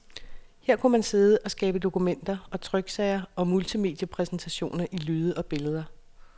Her kunne man sidde og skabe dokumenter og tryksager og multimediepræsentationer i lyde og billeder.